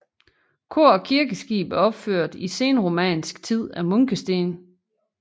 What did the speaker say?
Kor og kirkeskib er opført i senromansk tid af munkesten